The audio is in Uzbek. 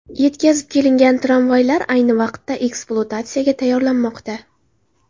Yetkazib kelingan travmaylar ayni vaqtda ekspluatatsiyaga tayyorlanmoqda.